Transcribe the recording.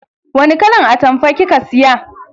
Wani kalan atamfa kika siya?